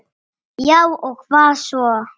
Já og hvað svo?